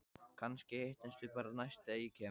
Kannski hittumst við bara næst þegar ég kem.